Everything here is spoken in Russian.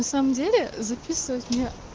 на самом деле записывать меня